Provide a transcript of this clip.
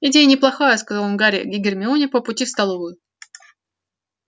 идея неплохая сказал он гарри и гермионе по пути в столовую